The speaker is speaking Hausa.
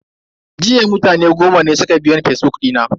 Jiya mutane goma ne suka biyo ni a fazbuk dina.